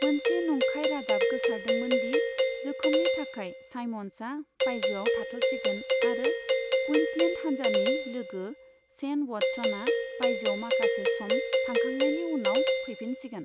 मोनसे नंखाय रादाब गोसारदोंमोन दि जोखोमनि थाखाय साइमन्ड्सआ बायजोआव थाथ'सिगोन आरो कुइन्सलेन्द हानजानि लोगो शेन व'टसना बायजोआव माखासे सम थाखांनायनि उनाव फैफिनसिगोन।